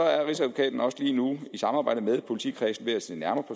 rigsadvokaten også lige nu i samarbejde med politikredsene ved at se nærmere